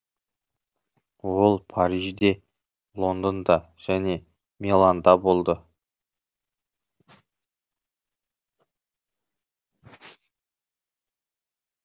ол парижде лондонда және миланда болды